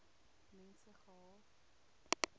mense gehad